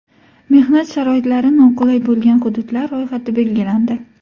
Mehnat sharoitlari noqulay bo‘lgan hududlar ro‘yxati belgilandi.